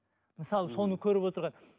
мысалы соны көріп отырған